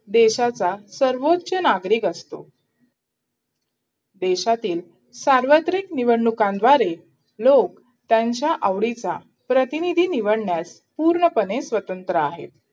देशाचा सर्वोच्च नागरिक असतो देशातील सार्वत्रिक निवडणुकांद्वारे लोक त्यांच्या आवडीचा प्रतिनिधी निवडण्यास पूर्णपणे स्वतंत्र आहे